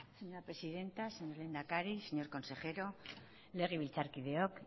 señora presidenta señor lehendakari señor consejero legebiltzarkideok